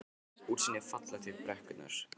Útsýnið er fallegt upp í brekkurnar.